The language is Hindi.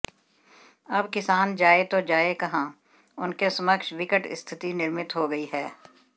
अब किसान जाये तो जाये कहॉ उनके समक्ष विकट स्थिति निर्मित हो गयी है